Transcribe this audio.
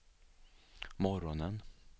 morgonen